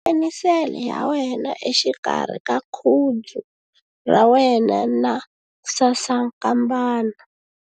Khoma penisele ya wena exikarhi ka khudzu ra wena na sasankambana.